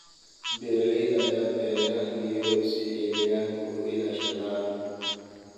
Beeralayda ayaa beera geedo si ay deegaanka u ilaashadaan.